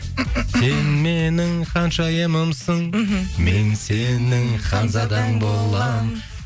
сен менің ханшайымымсың мхм мен сенің ханзадаң боламын